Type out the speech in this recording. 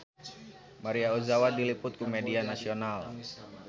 Maria Ozawa diliput ku media nasional